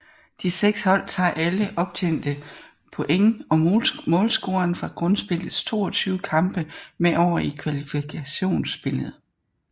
De seks hold tager alle optjente point og målscoren fra Grundspillets 22 kampe med over i Kvalifikationsspillet